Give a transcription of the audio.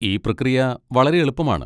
ഈ പ്രക്രിയ വളരെ എളുപ്പമാണ്.